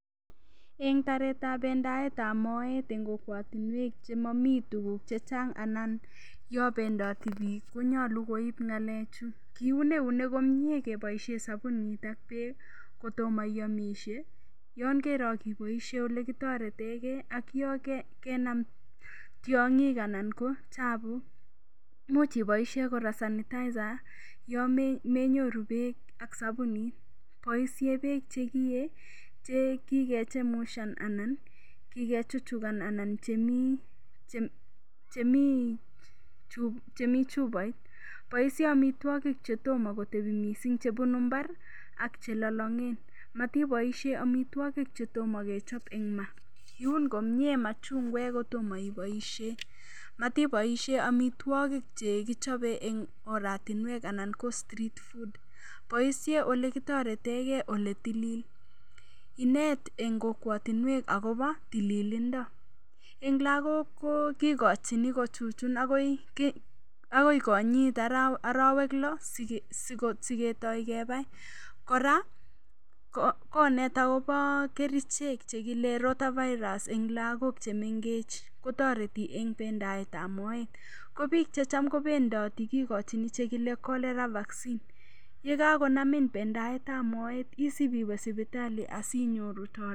Eng baretab pendaetab moet eng kokwatinwek chemami tuguk che chang anan yopendati biik konyalu koip ngalechu; kiun eunek komie keboisien sabunit ak beek kotoma iyomisie, yokeroo ak iboisie olekitaretegei ak yon, yokenam tiongik anan ko chabuk. Imuch iboisie kora sanitizer yon menyoru beek ak sabunit. Boisie beek chekiyee che kikechemushan anan kikechuchukan anan chemi chubait. Boisie amitwogik che toma kotebi mising chebunu imbar ak chelolongen. Matiboisien amitwogik che toma kechop eng ma. Iyun komie machungwek kotoma iboisie. Matiboisie amitwogik chekichobe eng oratinwek anan ko street food. Boisie olekitoretenge ole tilil. Inet en kokwotinuek akobo tililindo. Eng lagok ko kikochin kochuchun agoi konyit arawek lo sigetoi kebai. Kora konet agobo kerichek che kile rotavairas eng lagok chemengech. Toreti eng bendaetab moet. Kobiik checham kobendoti kikochin chekile cholera vaccine. Yekakonamin bendaetab moet iwe sipitali ipinyoru toretet